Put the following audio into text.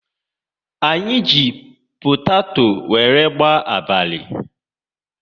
Anyị ji potato wéré gbaa abalị